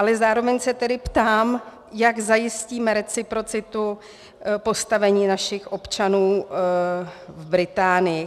Ale zároveň se tedy ptám, jak zajistíme reciprocitu postavení našich občanů v Británii.